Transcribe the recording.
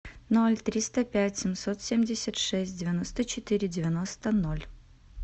ноль триста пять семьсот семьдесят шесть девяносто четыре девяносто ноль